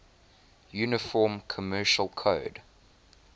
uniform commercial code